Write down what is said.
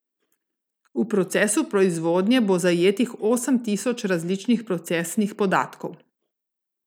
V procesu proizvodnje bo zajetih osem tisoč različnih procesnih podatkov.